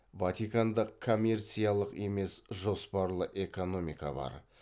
ватиканда коммерциялық емес жоспарлы экономика бар